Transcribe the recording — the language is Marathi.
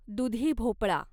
दुधी भोपळा